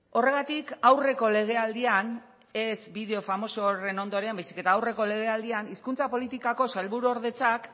horregatik aurreko legealdian ez bideo famoso horren ondoren baizik eta aurreko legealdian hizkuntza politikako sailburuordetzak